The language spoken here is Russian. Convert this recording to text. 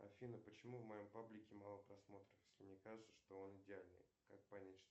афина почему в моем паблике мало просмотров если мне кажется что он идеальный как понять что